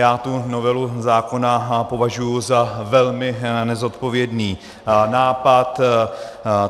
Já tu novelu zákona považuji za velmi nezodpovědný nápad.